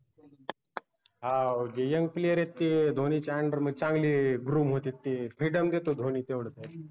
हाओ जे youngplayer आहेत ते धोनीच्या under मध्ये चांगले groom होतेत ते freedom देतो धोनी तेवढं त्यांना